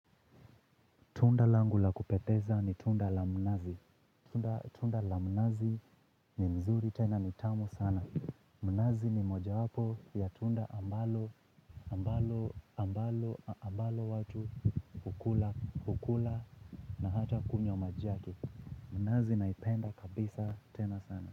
Tunda langu la kupendeza ni tunda la mnazi. Tunda la mnazi ni mzuri tena nitamu sana. Mnazi ni mojawapo ya tunda ambalo watu hukula na hata kunywa maji yaks. Mnazi naipenda kabisa tena sana.